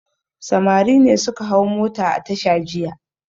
Samari ne suka hau mota a tasha jiya.